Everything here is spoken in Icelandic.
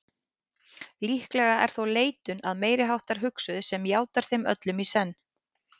Líklega er þó leitun að meiriháttar hugsuði sem játar þeim öllum í senn.